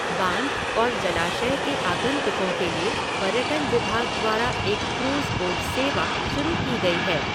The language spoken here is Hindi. बाँध और जलाशय के आगंतुकों के लिए पर्यटन विभाग द्वारा एक क्रूज़ बोट सेवा शुरू की गई है।